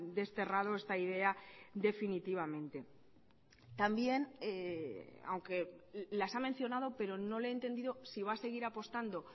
desterrado esta idea definitivamente también aunque las ha mencionado pero no le he entendido si va a seguir apostando